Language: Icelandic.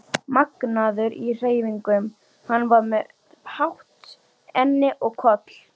magnaður í hreyfingum, hann var með hátt enni og koll